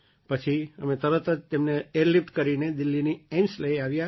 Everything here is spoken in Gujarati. પછી અમે તેમને ઍરલિફ્ટ કરીને દિલ્લીની એઇમ્સ લઈ આવ્યાં અમે લોકો